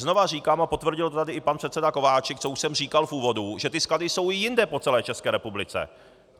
Znova říkám a potvrdil to tady i pan předseda Kováčik, co už jsem říkal v úvodu, že ty sklady jsou i jinde po celé České republice.